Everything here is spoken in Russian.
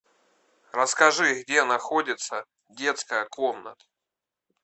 расскажи где находится детская комната